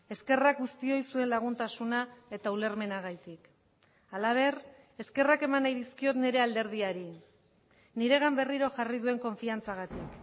eskerrak guztioi zuen laguntasuna eta ulermenagatik halaber eskerrak eman nahi dizkiot nire alderdiari niregan berriro jarri duen konfiantzagatik